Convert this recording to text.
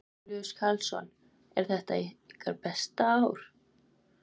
Jón Júlíus Karlsson: Er þetta ykkar besta ár?